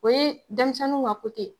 O ye denmisɛnw ka ye.